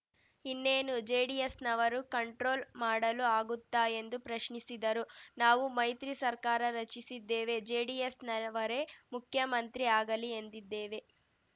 ಇನ್ನೇನು ಜೆಡಿಎಸ್‌ನವರು ಕಂಟ್ರೋಲ್‌ ಮಾಡಲು ಆಗುತ್ತಾ ಎಂದು ಪ್ರಶ್ನಿಸಿದರು ನಾವು ಮೈತ್ರಿ ಸರ್ಕಾರ ರಚಿಸಿದ್ದೇವೆ ಜೆಡಿಎಸ್‌ನವರೇ ಮುಖ್ಯಮಂತ್ರಿ ಆಗಲಿ ಎಂದಿದ್ದೇವೆ